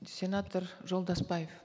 сенатор жолдасбаев